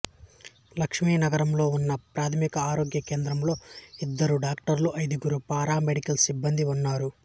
లక్ష్మీనాగారంలో ఉన్న ఒకప్రాథమిక ఆరోగ్య కేంద్రంలో ఇద్దరు డాక్టర్లు ఐదుగురు పారామెడికల్ సిబ్బందీ ఉన్నారు